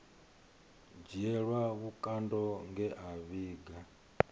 dzhielwa vhukando nge a vhiga